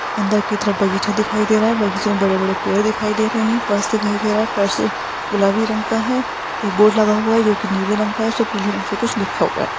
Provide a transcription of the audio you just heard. अन्दर की तरफ बगीचा दिखाई दे रहा है बगीचे मे बड़े-बड़े पेड़ दिखाई दे रहे है फर्श दिखाई दे रहा है फर्श गुलाबी रंग का है एक बोर्ड लगा हुआ है नीले रंग का उस पर पीले रंग से कुछ लिखा हुआ है।